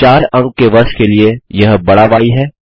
4 अंक के वर्ष के लिए यह बड़ा य है